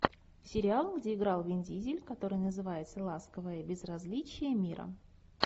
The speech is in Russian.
сериал где играл вин дизель который называется ласковое безразличие мира